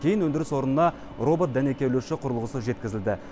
кейін өндіріс орнына робот дәнекерлеуші құрылғысы жеткізілді